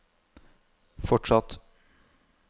fortsatt